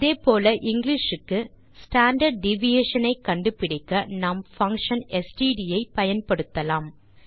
அதே போல இங்கிலிஷ் க்கு ஸ்டாண்டார்ட் டிவியேஷன் ஐ கண்டுபிடிக்க நாம் பங்ஷன் ஸ்ட்ட் ஐ பயன்படுத்தலாம்